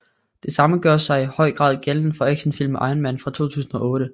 Det samme gør sig i høj grad gældende for actionfilmen Iron Man fra 2008